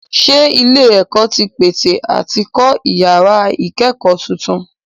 Ṣé ilé-ẹ̀kọ́ tí ń pète àti kọ́ ìyàrá ìkẹ́kọ̀ọ́ tuntun?